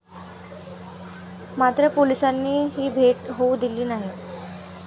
मात्र पोलिसांनी ही भेट होऊ दिली नाही.